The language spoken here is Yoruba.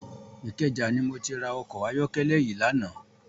Ikeja ni mó ti rá òkò àyòkèlè yi làná